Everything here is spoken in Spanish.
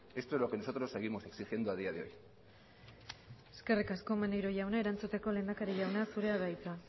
esto es lo que nosotros seguimos exigiendo a día de hoy eskerrik asko maneiro jauna erantzuteko lehendakari jauna zurea da hitza